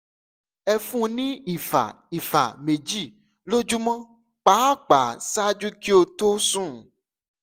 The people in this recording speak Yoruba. ẹ fún un ní ìfà ìfà méjì lójúmọ́ pàápàá ṣáájú kí ó tó sùn